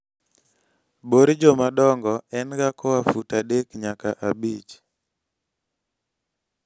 bor jomadongo en ga koa foot adek nyaka abich